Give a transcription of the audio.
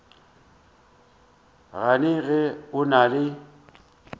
gane ge o na le